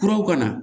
Kuraw ka na